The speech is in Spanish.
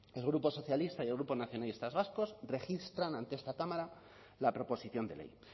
el grupo socialistas y el grupo nacionalistas vascos registran ante esta cámara la proposición de ley